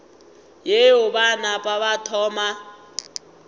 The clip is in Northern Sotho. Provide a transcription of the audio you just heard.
yeo ba napa ba thoma